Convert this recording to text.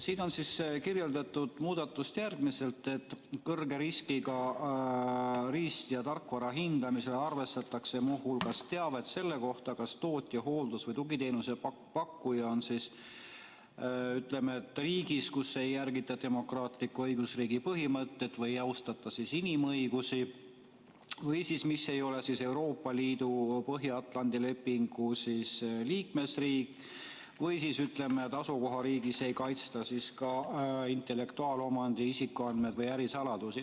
Siin on kirjeldatud muudatust järgmiselt: kõrge riskiga riist- ja tarkvara hindamisel arvestatakse muu hulgas teavet selle kohta, kas tootja, hooldus- või tugiteenuse pakkuja on riigis, kus ei järgita demokraatliku õigusriigi põhimõtteid või ei austata inimõigusi, või riigis, mis ei ole Euroopa Liidu või Põhja-Atlandi Lepingu Organisatsiooni liikmesriik, või riigis, kus ei kaitsta intellektuaalomandit, isikuandmeid või ärisaladusi.